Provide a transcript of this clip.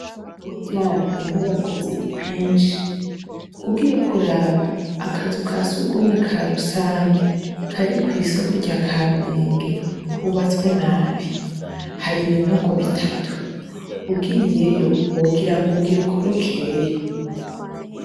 Burya inyubako ziri kwinshi ugiye kuraba akazu kasugumwe ka rusange kari kw'isoko rya kampenge kubatswe nabi hari ibinogo bitatu ugiyeyo ugira ngo ugira ukorokereyo.